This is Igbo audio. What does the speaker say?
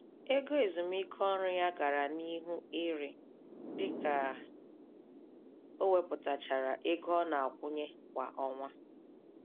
Ego ezumiike ọrụ ya gàrà n'ihu iri, dịka o wepụtachara ego ọnakwunye kwa ọnwa